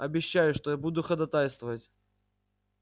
обещаю что я буду ходатайствовать